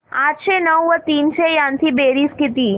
आठशे नऊ व तीनशे यांची बेरीज किती